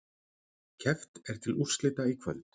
Keppt er til úrslita í kvöld